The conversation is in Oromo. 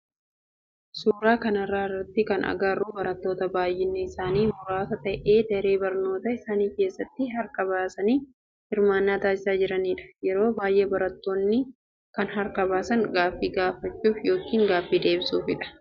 Suuraa kana irratti kan agarru barattoota baayyinni isaanii muraasa ta'e daree barnootaa isaanii keessatti harka baasanii hirmaannaa taasisaa jiranidha. Yeroo baayyee barattoonni kan harka baasan gaaffii gaafachuf yookin deebii deebisuufidha.